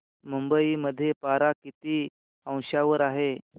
मुंबई मध्ये पारा किती अंशावर आहे